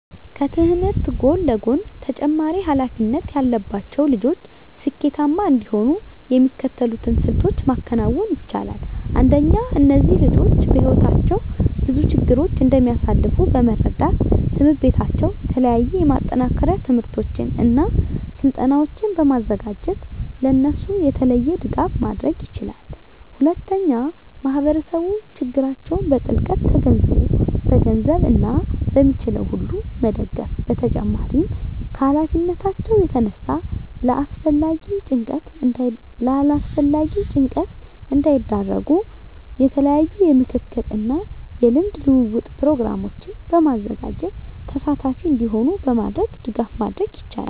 ከትምህርት ጎን ለጎን ተጨማሪ ሀላፊነት ያለባቸው ልጆች ስኬታማ እንዲሆኑ የሚከተሉትን ስልቶች ማከናወን ይቻላል። አንደኛ እነዚህ ልጆች በህይወታቸው ብዙ ችግሮችን እንደሚያሳልፍ በመረዳት ትምሕርት ቤታቸው የተለያዩ የማጠናከሪያ ትምህርቶችን እና ስልጠናዎችን በማዘጋጀት ለእነሱ የተለየ ድጋፍ ማድረግ ይችላል። ሁለተኛ ማህበረሰቡ ችግራቸውን በጥልቀት ተገንዝቦ በገንዘብ እና በሚችለው ሁሉ መደገፍ በተጨማሪም ከሀላፊነታቸው የተነሳ ለአላስፈላጊ ጭንቀት እንዳይዳረጉ የተለያዩ የምክክር እና የልምድ ልውውጥ ፕሮግራሞችን በማዘጋጀት ተሳታፊ እንዲሆኑ በማድረግ ድጋፍ ማድረግ ይቻላል።